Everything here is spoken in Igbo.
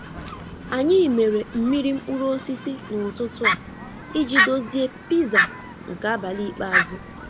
Anyị mere mmiri mkpụrụ osisi n'ụtụtụ a iji dozie Piza nke abalị ikpeazụ.